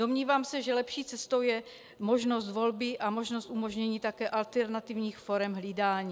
Domnívám se, že lepší cestou je možnost volby a možnost umožnění také alternativních forem hlídání.